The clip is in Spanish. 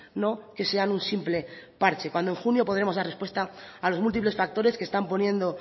no que sean un simple parche cuando en junio podremos dar respuesta a los múltiples factores que están poniendo